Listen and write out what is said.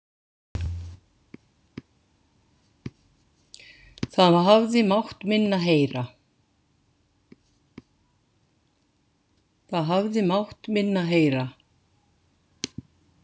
Það hafði mátt minna heyra.